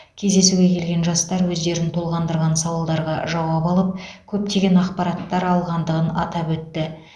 кездесуге келген жастар өздерін толғандырған сауалдарға жауап алып көптеген ақпараттар алғандығын атап өтті